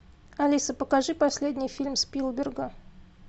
алиса покажи последний фильм спилберга